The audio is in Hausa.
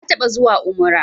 Na taɓa zuwa umrah